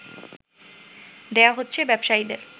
দেয়া হচ্ছে ব্যবসায়ীদের